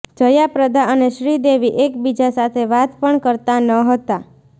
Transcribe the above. જયાપ્રદા અને શ્રીદેવી એકબીજા સાથે વાત પણ કરતા ન હતા